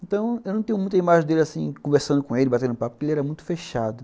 Então, eu não tenho muita imagem dele assim, conversando com ele, batendo papo, porque ele era muito fechado.